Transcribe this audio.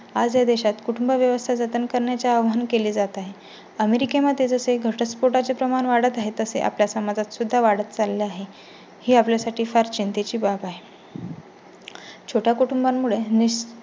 आज या देशात कुटुंबव्यवस्था जतन करण्याचे आव्हान केले जात आहे. अमेरिके मध्ये जसे घटस्फोटा चे प्रमाण वाढत आहे तसे आपल्या समाजात सुद्धा वाढत चालला आहे. ही आपल्या साठी फार चिंते ची बाब आहे. छोटा कुटुंबामुळे